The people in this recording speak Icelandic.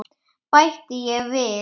bætti ég við.